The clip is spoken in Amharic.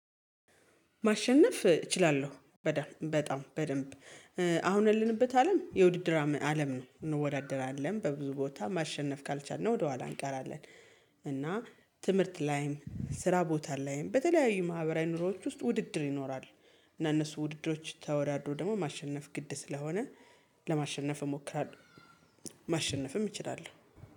ማሸነፍ እችላልሁ። በደን በጣም በደንብ አሁን ያለንበት አለም የውድድር አም አለም ነው። እንወዳደራለን በብዙ ቦታ ማሸነፍ ካልቻልነ ወደኋላ እንቀራለን። እና ትምህርት ላይም ስራቦታ ላይም በተለያዩ ማህበራዊ ኑሮዎች ውስጥ ውድድር ይኖራል። እና እነሱን ውድድሮች ተወዳድሮ ደግሞ ማሸነፍ ግድ ስለሆነ ለማሽነፍ እሞክራለሁ። ማሸነፍም እችላለሁ